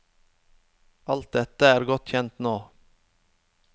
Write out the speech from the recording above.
Alt dette er godt kjent nå.